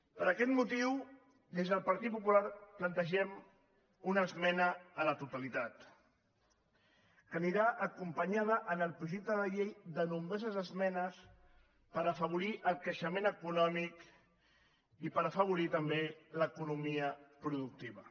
per aquest motiu des del partit popular plantegem una esmena a la totalitat que anirà acompanyada en el projecte de llei de nombroses esmenes per afavorir el creixement econòmic i per afavorir també l’economia productiva